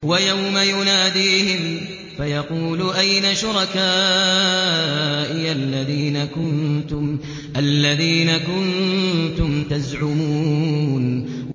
وَيَوْمَ يُنَادِيهِمْ فَيَقُولُ أَيْنَ شُرَكَائِيَ الَّذِينَ كُنتُمْ تَزْعُمُونَ